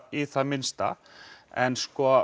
í það minnsta en